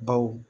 Baw